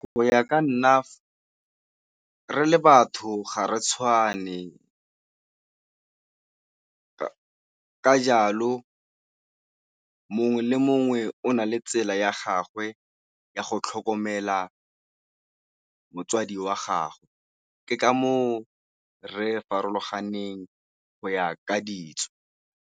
Go ya ka nna re le batho ga re tshwane ka jalo mongwe le mongwe o o na le tsela ya gagwe ya go tlhokomela motsadi wa gagwe, ke ka moo re farologaneng go ya ka ditso.